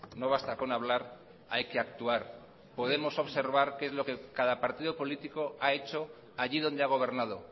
no basta con hablar hay que actuar podemos observar qué es lo que cada partido político ha hecho allí donde ha gobernado